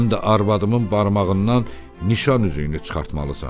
Həm də arvadımın barmağından nişan üzüyünü çıxartmalısan.